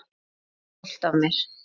Og stolt af mér.